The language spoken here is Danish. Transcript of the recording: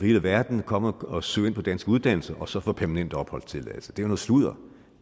hele verden komme og søge ind på danske uddannelser og så få permanent opholdstilladelse det er noget sludder